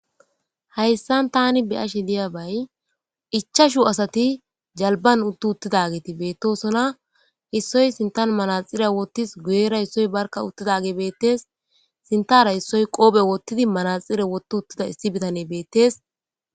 hayssan tani be7ashe diyabay ichashu asati jalban utti uttidageti beettosona issoy sintan manaxire woottis guyera issoy barka uttidage beettes sintara issoy qoophe wottidi manaxire wotti uttida issi bitane beettes.